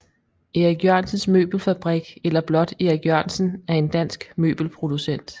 Erik Jørgensen Møbelfabrik eller blot Erik Jørgensen er en dansk møbelproducent